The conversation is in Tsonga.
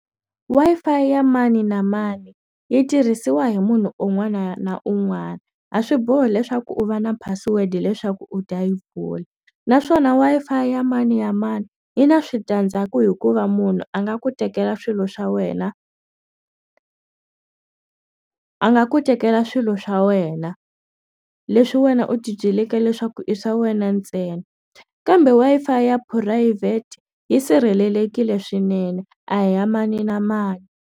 Wi-Fi ya mani na mani yi tirhisiwa hi munhu un'wana na un'wana a swi bohi leswaku u va na password leswaku u ta yi pfula naswona Wi-Fi ya mani na mani yi na switandzhaku hikuva munhu a nga ku tekela swilo swa wena a nga ku tekela swilo swa wena leswi wena u tibyeleke leswaku i swa wena ntsena kambe Wi-Fi ya phurayivhete yi sirhelelekile swinene a hi ya mani na mani.